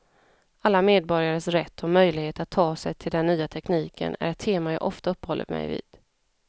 Alla medborgares rätt och möjlighet att ta till sig den nya tekniken är ett tema jag ofta uppehåller mig vid.